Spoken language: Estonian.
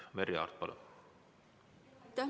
Merry Aart, palun!